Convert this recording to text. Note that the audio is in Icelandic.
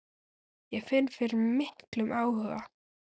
Ég finn fyrir miklum áhuga.